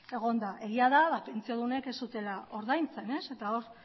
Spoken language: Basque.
egon da egia da pentsiodunek ez zutela ordaintzen eta hor